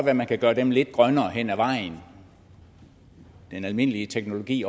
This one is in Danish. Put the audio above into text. at man kan gøre dem lidt grønnere hen ad vejen den almindelige teknologi